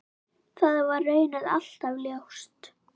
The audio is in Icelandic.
Það var raunar alltaf ljóst.